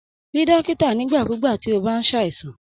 Rí dókítà nigbakugba ti o bá s'àìsàn.